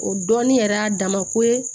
O dɔɔnin yɛrɛ y'a dama ko ye